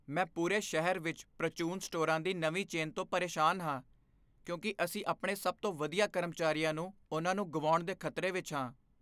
ਮੈਂ ਪੂਰੇ ਸ਼ਹਿਰ ਵਿੱਚ ਪ੍ਰਚੂਨ ਸਟੋਰਾਂ ਦੀ ਨਵੀਂ ਚੇਨ ਤੋਂ ਪਰੇਸ਼ਾਨ ਹਾਂ, ਕਿਉਂਕਿ ਅਸੀਂ ਆਪਣੇ ਸਭ ਤੋਂ ਵਧੀਆ ਕਰਮਚਾਰੀਆਂ ਨੂੰ ਉਹਨਾਂ ਨੂੰ ਗੁਆਉਣ ਦੇ ਖ਼ਤਰੇ ਵਿੱਚ ਹਾਂ।